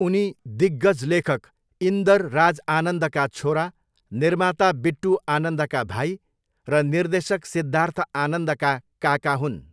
उनी दिग्गज लेखक इन्दरराज आनन्दका छोरा, निर्माता बिट्टू आनन्दका भाइ र निर्देशक सिद्धार्थ आनन्दका काका हुन्।